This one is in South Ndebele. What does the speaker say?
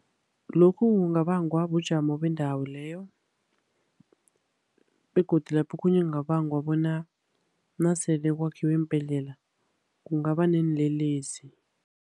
Lokhu kungabangwa bujamo bendawo leyo, begodu lapho okhunye kungabanga bona nasele kwakhiwe iimbhedlela, kungaba neenlelesi.